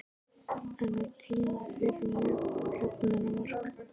En var tími fyrir jöfnunarmark?